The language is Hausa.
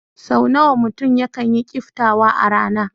Sau nawa mutum yakan yi kiftawa a rana?